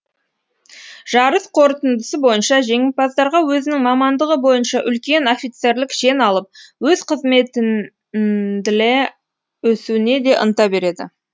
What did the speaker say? жарыс қорытындысы бойынша жеңімпаздарға өзінің мамандығы бойынша үлкен офицерлік шен алып өз қызметіндле өсуіне де ынта береді